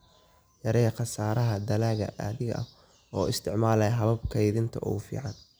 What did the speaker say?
Yaree khasaaraha dalagga adiga oo isticmaalaya hababka kaydinta ugu fiican.